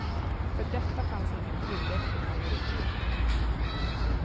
För detta finns ingen tillräcklig majoritet.